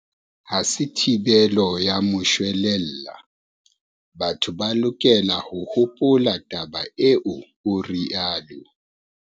"Ha se thibelo ya moshwelella, batho ba lokela ho hopola taba eo," o rialo.